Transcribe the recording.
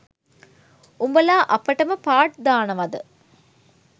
උඔලා අපටම පාට් දානවද?